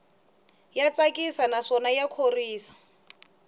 ya tsakisa naswona ya khorwisa